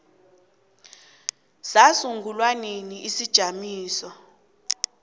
sasungulwa nini isijamiso